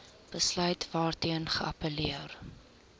besluit waarteen geappelleer